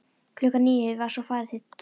Klukkan níu var svo farið til kirkju.